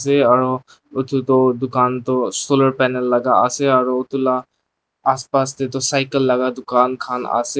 sae aru etu toh dukan toh solar panel ase aru etuka la aspas tae toh cycle laga ducan kahn ase.